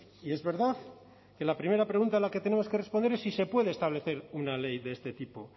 y es verdad que la primera pregunta a la que tenemos que responder es si se puede establecer una ley de este tipo